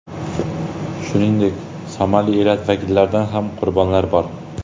Shuningdek, somali elati vakillaridan ham qurbonlari bor.